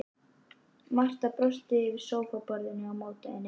Marta brosir yfir sófaborðinu á móti henni.